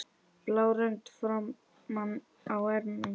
blá rönd framan á ermum.